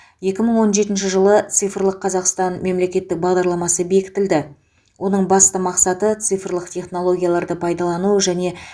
екі мың он жетінші жылы цифрлық қазақстан мемлекеттік бағдарламасы бекітілді оның басты мақсаты цифрлық технологияларды пайдалану және